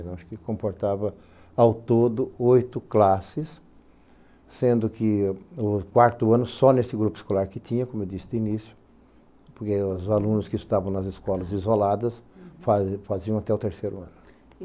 Ela comportava ao todo oito classes, sendo que o quarto ano só nesse grupo escolar que tinha, como eu disse no início, porque os alunos que estavam nas escolas isoladas fa faziam até o terceiro ano.